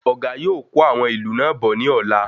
Ọ̀gá yóò kó àwọn ilú náà bọ̀ ní ọ̀la